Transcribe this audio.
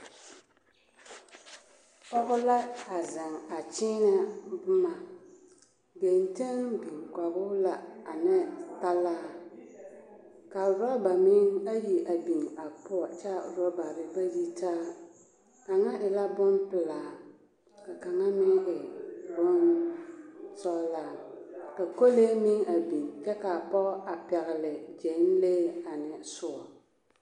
Pɔge la a zeŋ a kyiinɛ boma geŋteŋ biŋ kɔgoo la ne talaa ka rɔba meŋ ayi biŋ a poɔ kyaa rɔbarre ba yitaa kaŋa e la bonpelaa kaŋa e bonsɔglaa ka kolee meŋ a biŋ kyɛ kaa pɔgɔ a pɛgle gyɛnlee ane soɔ.